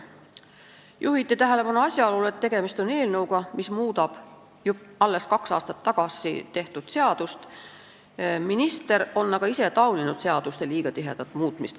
Juhiti tähelepanu asjaolule, et tegemist on eelnõuga, mis muudab alles kaks aastat tagasi tehtud seadust, ehkki minister on ise tauninud seaduste liiga tihedat muutmist.